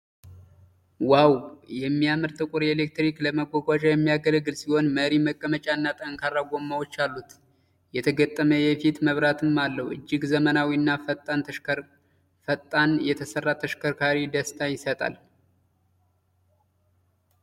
ዋው! የሚያምር ጥቁር የኤሌክትሪክ ለመጓጓዣ የሚያገለግል ሲሆን መሪ፣ መቀመጫ እና ጠንካራ ጎማዎች አሉት። የተገጠመ የፊት መብራትም አለው። እጅግ ዘመናዊ እና ፈጣን የተሰራ ተሽከርካሪ። ደስታ ይሰጣል።